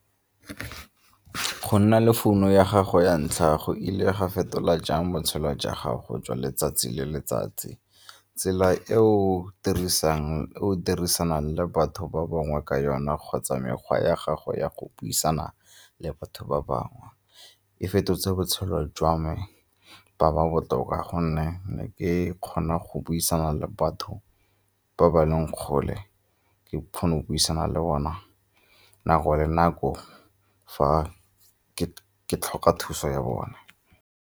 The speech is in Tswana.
Go nna le founu ya gago ya ntlha go ile ga fetola jang botshelo jwa gago jwa letsatsi le letsatsi, tsela e o dirisang o dirisanang le batho ba bangwe ka yona kgotsa mekgwa ya gago ya go buisana le batho ba bangwe? E fetotse botshelo jwa me ba ba botoka gonne ne ke kgona go buisana le batho ba ba leng kgole ke kgona go buisana le bona nako le nako fa ke tlhoka thuso ya bone.